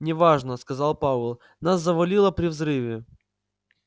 не важно сказал пауэлл нас завалило при взрыве